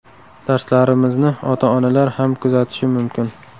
Darslarimizni ota-onalar ham kuzatishi mumkin.